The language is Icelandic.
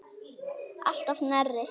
Alltof nærri.